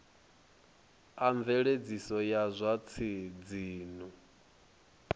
a mveledziso ya zwa dzinnu